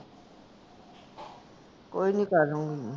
ਕੋਈ ਨੀ ਕਰ ਲੂੰਗੀ ਮੈਂ